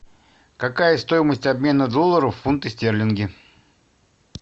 какая стоимость обмена долларов в фунты стерлинги